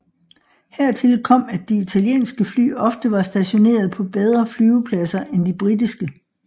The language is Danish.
Hertil kom at de italienske fly ofte var stationeret på bedre flyvepladser end de britiske